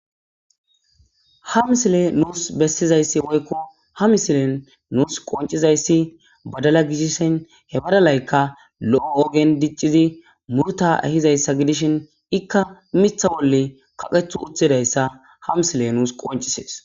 Ha misile nuus bessizayssi woykko ha misilen nuus qoncizayssi badala gishissan he badalaykka lo'o ogen diccizi murta ehizayssa gidishin ikka mitha wolle kaqethu uthidayssa ha misile nuus qoncisees.